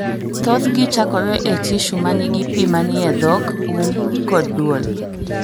Thothgi chakore e tishu ma nigi pi ma ni e dhok, um kod duol.